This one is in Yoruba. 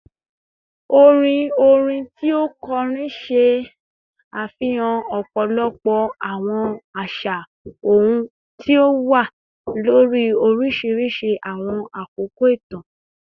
Orin orin ti o kọrin ṣe afihan ọpọlọpọ awọn aṣa ohun ti o wa lori oriṣiriṣi awọn akoko itan